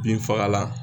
Binfagalan